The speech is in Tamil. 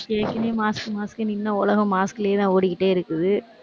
ஏற்கனவே mask, mask ன்னு இன்னும் உலகம் mask லயேதான் ஓடிக்கிட்டே இருக்குது.